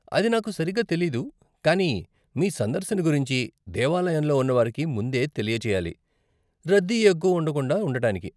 అది నాకు సరిగ్గా తెలీదు కానీ మీ సందర్శన గురించి దేవాలయంలో ఉన్న వారికి ముందే తెలియ చేయాలి, రద్దీ ఎక్కువ ఉండకుండా ఉండటానికి.